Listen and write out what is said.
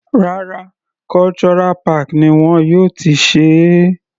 Rárá, Cultural park ni wọn yóò ti ṣe é.